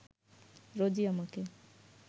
রোজই আমাকে